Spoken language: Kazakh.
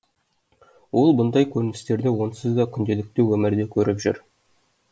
ол бұндай көріністерді онсыз да күнделікті өмірде көріп жүр